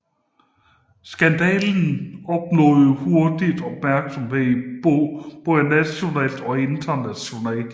Skandalen opnåede hurtigt opmærksomhed både nationalt og internationalt